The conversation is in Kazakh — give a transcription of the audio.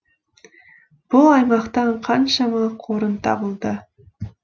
бұл аймақтан қаншама қорым табылды